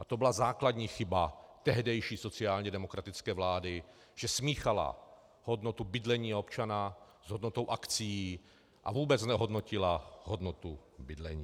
A to byla základní chyba tehdejší sociálně demokratické vlády, že smíchala hodnotu bydlení občana s hodnotou akcií a vůbec znehodnotila hodnotu bydlení.